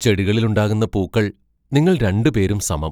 ചെടികളിലുണ്ടാകുന്ന പൂക്കൾ നിങ്ങൾ രണ്ടുപേരും സമം